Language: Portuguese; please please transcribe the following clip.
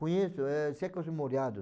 Conheço, eh, séculos molhado.